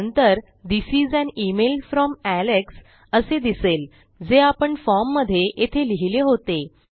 नंतर this is an email from Alex असे दिसेल जे आपण फॉर्ममधे येथे लिहिले होते